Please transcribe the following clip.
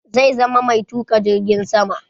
Zai zama mai tuka jirgin sama.